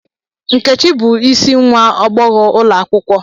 Nkechi bu isi nwa agbogho ulo akwukwo.